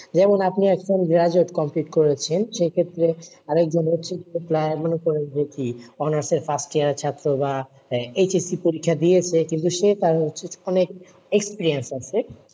যেমন আপনি আজকাল graduate complete করেছেন, সেই ক্ষেত্রে honours এর first year এর ছাত্র বা HSC পরীক্ষা দিয়েছে কিন্তু সে তার experience আছে,